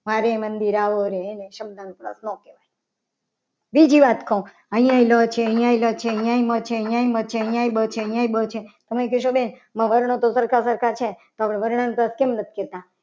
મારે મંદિર આવોને એની શબ્દ અનુપ્રાસ ના કહેવાય બીજી વાત કરું અહીંયા ર છે અહીંયા ર છે. તમે કો કે આ વર્ણ તો સરખા સરખા છે. તો આ વર્ણ અનુ ક્લાસ કેમ નથી કહેતા.